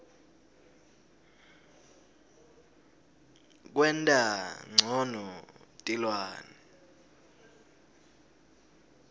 kwenta ncono tilwane